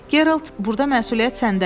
Gerald, burda məsuliyyət səndədir.